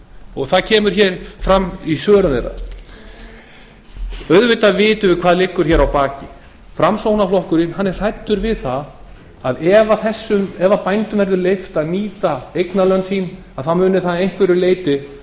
og það kemur hér fram í svörum þeirra auðvitað vitum við hvað liggur hér að baki framsóknarflokkurinn er hræddur við það að ef bændum verður leyft að nýta eignarlönd sín muni það að einhverju leyti